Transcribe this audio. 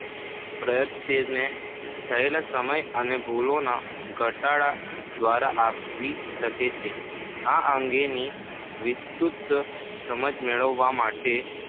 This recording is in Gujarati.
પ્રયત્ને થયેલ સમય અને ભૂલોના ઘટાડા દ્વારા આવી શકે છે. આ અંગેની વિસ્તૃત સમજ મેળવવા માટે